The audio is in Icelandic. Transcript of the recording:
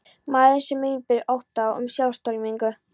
Maðurinn einn býr við ótta um sjálfstortímingu.